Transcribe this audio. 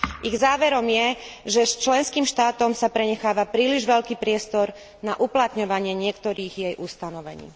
Ich záverom je, že členským štátom sa prenecháva príliš veľký priestor na uplatňovanie niektorých jej ustanovení.